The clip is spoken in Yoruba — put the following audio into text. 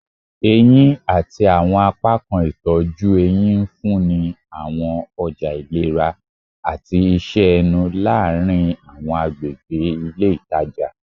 Eyin ati awọn apakan itọju ehín nfunni awọn ọja ilera ati iṣẹ ẹnu laarin awọn agbegbe ile itaja